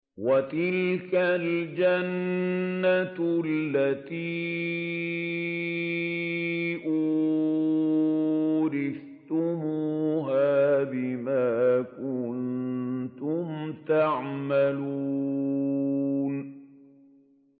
وَتِلْكَ الْجَنَّةُ الَّتِي أُورِثْتُمُوهَا بِمَا كُنتُمْ تَعْمَلُونَ